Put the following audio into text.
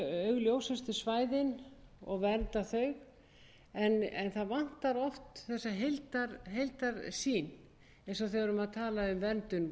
augljósustu svæðin og vernda þau en það vantar oft þessa heildarsýn eins og þegar við erum að tala um verndun